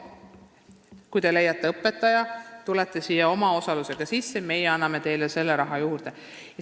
Kui te leiate õpetaja, siis tulete omaosalusega n-ö sisse ja me anname teile raha juurde.